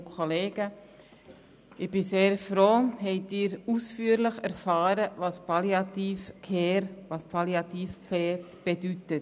Ich bin sehr froh, haben Sie ausführlich erfahren, was Palliative Care bedeutet.